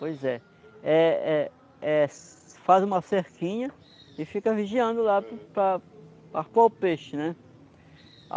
Pois é. Eh eh eh, faz uma cerquinha e fica vigiando lá para o para arpoar o peixe, né?